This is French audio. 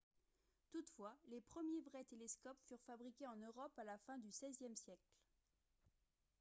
toutefois les premiers vrais télescopes furent fabriqués en europe à la fin du xvie siècle